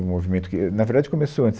No movimento, que, na verdade, começou antes.